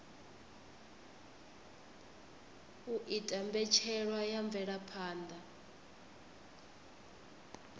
u ita mbetshelwa ya mvelaphanda